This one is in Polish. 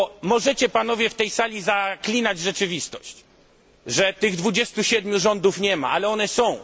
Możecie, panowie, w tej sali zaklinać rzeczywistość, twierdząc, że tych 27 rządów nie ma, ale one